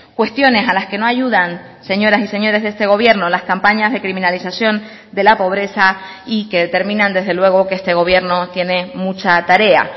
cuestiones a las que no ayudan señoras y señores de este gobierno las campañas de criminalización de la pobreza y que determinan desde luego que este gobierno tiene mucha tarea